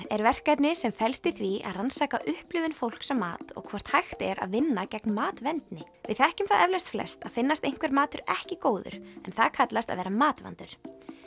er verkefni sem felst í því að rannsaka upplifun fólks á mat og hvort hægt er að vinna gegn matvendni við þekkjum það eflaust flest að finnast einhver matur ekki góður en það kallast að vera matvandur